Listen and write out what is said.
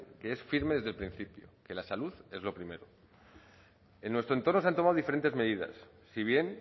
que es firme desde el principio que la salud es lo primero en nuestro entorno se han tomado diferentes medidas si bien